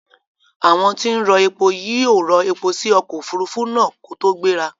Àwon tí n rọ epo yí ò rọ epo si okò òfurufú náà kótó gbéra